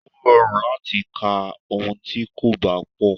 Ó rọrùn láti ka ohun tí kò bá pọ̀.